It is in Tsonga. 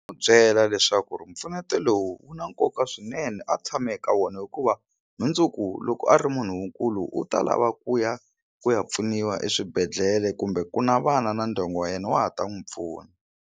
N'wi byela leswaku ri mpfuneto lowu wu na nkoka swinene a tshame eka wona hikuva mundzuku loko a ri munhu kulu u ta lava ku ya ku ya pfuniwa eswibedhlele kumbe ku na vana na ndyangu wa yena wa ha ta n'wi pfuna.